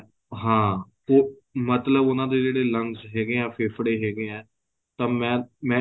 ਹਾਂ ਉਹ ਮਤਲਬ ਉਹਨਾ ਦੇ ਜਿਹੜੇ lungs ਹੈਗੇ ਏ ਫੇਫੜੇ ਹੈਗੇ ਏ ਤਾਂ ਮੈਂ ਮੈਂ